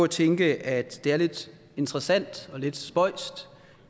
tænke at det er lidt interessant og lidt spøjst